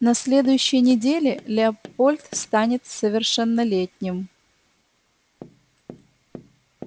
на следующей неделе лепольд станет совершеннолетним